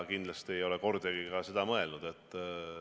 Kindlasti ei ole ma kordagi ka seda mõelnud.